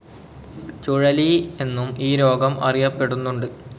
ചുഴലി എന്നും ഈ രോഗം അറിയപ്പെടുന്നുണ്ട്.